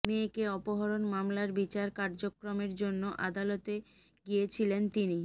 মেয়েকে অপহরণ মামলার বিচার কার্যক্রমের জন্য আদালতে গিয়েছিলেন তিনি